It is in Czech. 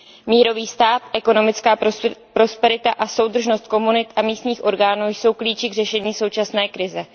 Mírový stát, ekonomická prosperita a soudržnost komunit a místních orgánů jsou klíči k řešení současné krize.